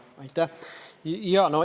Aitäh!